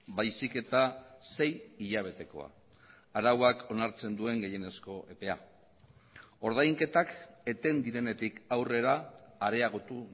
baizik eta sei hilabetekoa arauak onartzen duen gehienezko epea ordainketak eten direnetik aurrera areagotu